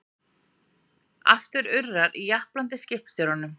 Aftur urrar í japlandi skipstjóranum.